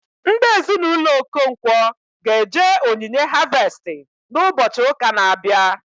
Ndị Ezinụlọ Okonkwo ga eje onyinye harvestị na ụbọchị ụka na abịa